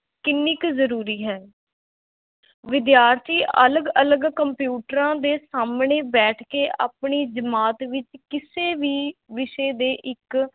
ਕਿੰਨੀ ਕੁ ਜ਼ਰੂਰੀ ਹੈ ਵਿਦਿਆਰਥੀ ਅਲੱਗ-ਅਲੱਗ ਕੰਪਿਊਟਰਾਂ ਦੇ ਸਾਹਮਣੇ ਬੈਠ ਕੇ ਅਪਣੀ ਜਮਾਤ ਵਿੱਚ ਕਿਸੇ ਵੀ ਵਿਸ਼ੇ ਦੇ ਕਿਸੇ ਇੱਕ